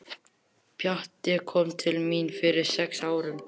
Pjatti kom til mín fyrir sex árum.